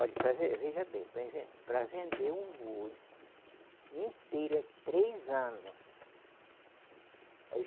Olhe para ve, veja bem, para inven, para vender um boi inteiro é três anos.